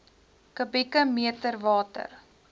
kubieke meter water